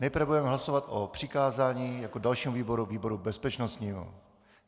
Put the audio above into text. Nejprve budeme hlasovat o přikázání jako dalšímu výboru výboru bezpečnostnímu.